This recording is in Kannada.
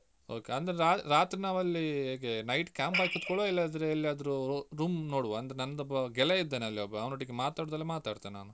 Okay ಅಂದ್ರೆ ರಾ~ ರಾತ್ರಿ ನಾವ್ ಅಲ್ಲಿ ಹೇಗೆ night camp ಹಾಕಿ ಕುತ್ಕೊಳುವ ಇಲ್ಲದ್ರೆ ಎಲ್ಲಾದ್ರೂ room ನೋಡುವ ಅಂದ್ರೆ ನಂದೊಬ್ಬ ಗೆಳಯ ಇದ್ದಾನೆ ಅಲ್ಲಿ ಒಬ್ಬ ಅವನೊಟ್ಟಿಗೆ ಮಾತಾಡುದಾದ್ರೆ ಮಾತಾಡ್ತೇನೆ ನಾನು.